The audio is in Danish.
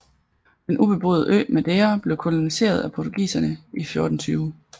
Den ubeboede ø Madeira blev koloniseret af portugiserne i 1420